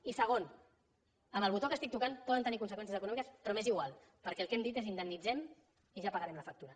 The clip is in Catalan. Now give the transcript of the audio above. i segon amb el botó que estic tocant poden tenir conseqüències econòmiques però m’és igual perquè el que hem dit és indemnitzem i ja pagarem la factura